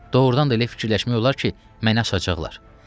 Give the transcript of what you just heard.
Doğrudan da elə fikirləşmək olar ki, məni asacaqlar.